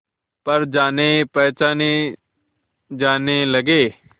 पर जानेपहचाने जाने लगे